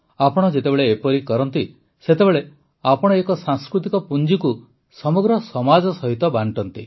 ଆପଣ ଯେତେବେଳେ ଏପରି କରନ୍ତି ସେତେବେଳେ ଆପଣ ଏକ ସାଂସ୍କୃତିକ ପୁଞ୍ଜିକୁ ସମଗ୍ର ସମାଜ ସହିତ ବାଂଟନ୍ତି